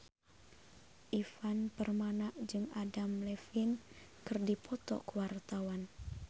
Ivan Permana jeung Adam Levine keur dipoto ku wartawan